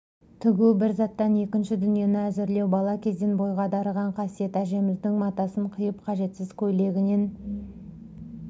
тігу бір заттан екінші дүниені әзірлеу бала кезден бойға дарыған қасиет әжеміздің матасын қиып қажетсіз көйлегінен